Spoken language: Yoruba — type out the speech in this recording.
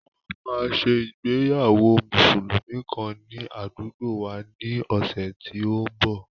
Wọ́n máa ṣe ìgbéyàwó Mùsùlùmí kàn ní àdúgbòo wa ní ọ̀sẹ̀ tí ó ń bọ̀.